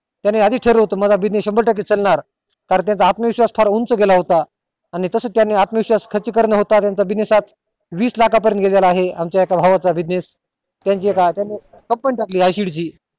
त्यांनी आधी च ठरवलं होत माझा शंभर टक्के चलणार कारण त्याचा आत्म विश्वास फार उंच गेला होता आणि तसच आतमविश्वास खर्ची कारण न होता त्याचा business आज वीस लाख आज पर्यंत गेला आहे आमच्या एका भावा चा business